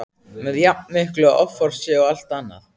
með jafn miklu offorsi og allt annað.